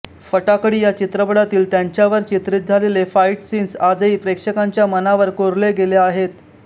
फटाकडी या चित्रपटातील त्यांच्यावर चित्रीत झालेले फाइट सीन्स आजही प्रेक्षकांच्या मनावर कोरले गेले आहेत